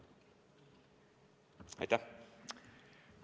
Aitäh!